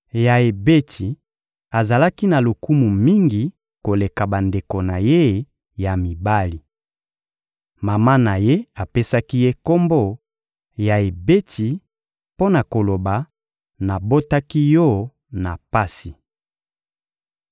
Yaebetsi azalaki na lokumu mingi koleka bandeko na ye ya mibali. Mama na ye apesaki ye kombo «Yaebetsi» mpo na koloba: «Nabotaki yo na pasi.»